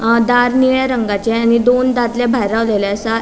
आ दार निळ्या रंगाचे आणि दोन दादले भायर रावलेले असा.